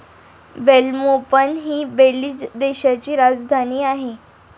Belmopan हि Belize देशाची राजधानी आहे.